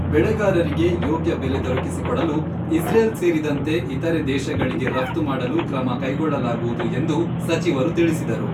ಬೆಳೆಗಾರರಿಗೆ ಯೋಗ್ಯ ಬೆಲೆ ದೊರಕಿಸಿಕೊಡಲು ಇಸ್ರೇಲ್ ಸೇರಿದಂತೆ ಇತರೆ ದೇಶಗಳಿಗೆ ರಫ್ತು ಮಾಡಲು ಕ್ರಮ ಕೈಗೊಳ್ಳಲಾಗುವುದು ಎಂದು ಸಚಿವರು ತಿಳಿಸಿದರು.